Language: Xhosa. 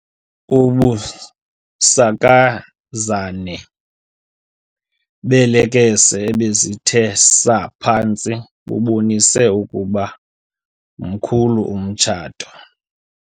Ubusakazane beelekese ebezithe saa phantsi bubonise ukuba mkhulu umtshato.